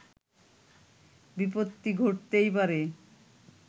বিপত্তি ঘটতেই পারে